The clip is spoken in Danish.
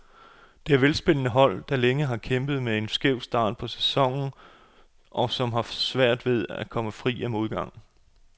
Det er velspillende hold, der længe har kæmpet med en skæv start på sæsonen, og som har haft svært ved at komme fri af modgangen.